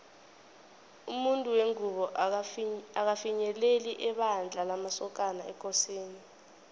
umuntu wengubo akafinyeleli ebandla lamasokana ekosini